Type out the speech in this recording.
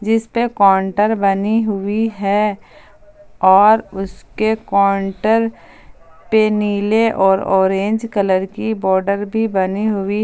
जिसपे काउंटर बनी हुई हैं और उसके काउंटर पे नीले और ऑरेंज कलर की बॉर्डर भी बनी हुई--